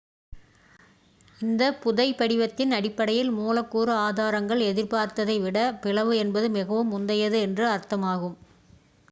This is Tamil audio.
"""இந்த புதைபடிவத்தின் அடிப்படையில் மூலக்கூறு ஆதாரங்கள் எதிர்பார்த்ததை விட பிளவு என்பது மிகவும் முந்தையது என்று அர்த்தமாகும்.